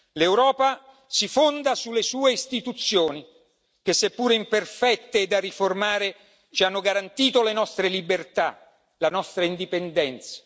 L'Europa si fonda sulle sue istituzioni che, seppure imperfette e da riformare, ci hanno garantito le nostre libertà, la nostra indipendenza.